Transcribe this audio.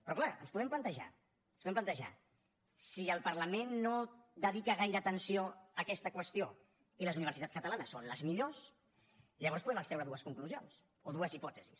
però clar ens podem plantejar ens ho podem plantejar si el parlament no dedica gaire atenció a aquesta qüestió i les universitats catalanes són les millors llavors podem extreure dues conclusions o dues hipòtesis